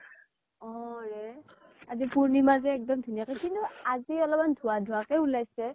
অ ৰে । আজি পূৰ্ণিমা যে একদম ধুনীয়াকে, কিন্তু আজি অলপমান ধুৱা ধুৱা কে উলাইছে